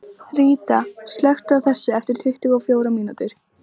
Ríta, slökktu á þessu eftir tuttugu og fjórar mínútur.